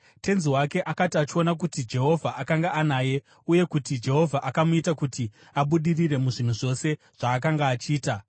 Tenzi wake akati achiona kuti Jehovha akanga anaye uye kuti Jehovha akamuita kuti abudirire muzvinhu zvose zvaakanga achiita,